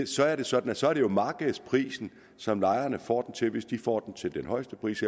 så er det sådan at så er det markedsprisen som lejerne får den til hvis de får den til den højeste pris